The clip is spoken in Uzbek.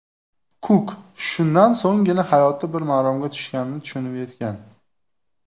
Kuk shundan so‘nggina hayoti bir maromga tushganini tushunib yetgan.